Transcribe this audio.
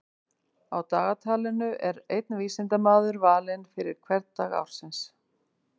Á dagatalinu er einn vísindamaður valinn fyrir hvern dag ársins.